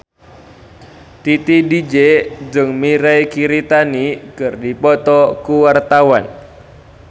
Titi DJ jeung Mirei Kiritani keur dipoto ku wartawan